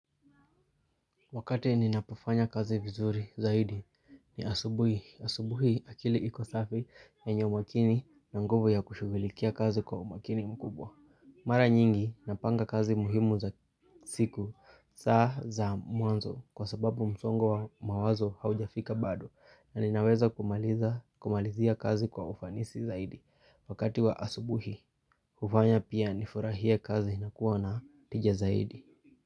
Wakati ninapofanya kazi vizuri zaidi ni asubuhi. Asubuhi akili iko safi yenye umakini na nguvu ya kushughulikia kazi kwa umakini mkubwa. Mara nyingi napanga kazi muhimu za siku, saa za mwanzo kwa sababu msongo wa mawazo haujafika badoc, na ninaweza kumalizia kazi kwa ufanisi zaidi. Wakati wa asubuhi hufanya pia nifurahie kazi na kuwa na tija zaidi.